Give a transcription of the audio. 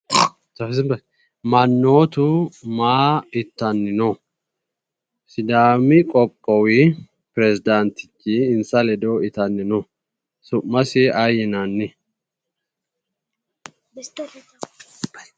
Mannootu maa itanni no? Sidaami qoqqowi presdaantichi insa ledo itanni no su"masi aye yinanni?